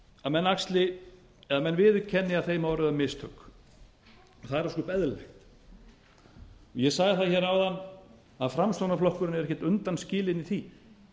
að menn viðurkenni að þeim hafi orðið á mistök og það er ósköp eðlilegt ég sagði það hér áðan að framsóknarflokkinn er ekkert undanskilinn í því